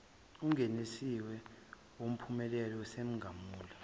ungenelisiwe wumphumela wesimangalo